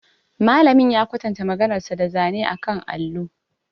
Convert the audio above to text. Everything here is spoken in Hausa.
Malamin ya kwatanta maganarsa da zane akan allo.